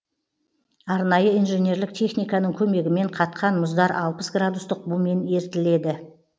арнайы инженерлік техниканың көмегімен қатқан мұздар алпыс градустық бумен ерітіледі